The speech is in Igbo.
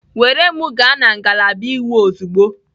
Were m gaa na ngalaba iwu ozugbo!